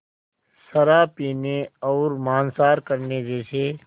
शराब पीने और मांसाहार करने जैसे